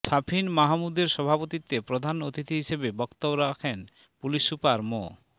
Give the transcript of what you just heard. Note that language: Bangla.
শাফিন মাহমুদের সভাপতিত্বে প্রধান অতিথি হিসেবে বক্তব্য রাখেন পুলিশ সুপার মো